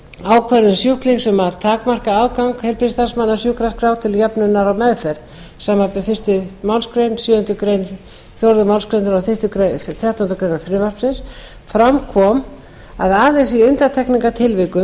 ákvörðun sjúklings um að takmarka aðgang heilbrigðisstarfsmanna að sjúkraskrá til höfnunar á meðferð samanber fyrstu málsgrein sjöundu greinar og fjórðu málsgreinar þrettándu greinar frumvarpsins fram kom að aðeins í undantekningartilvikum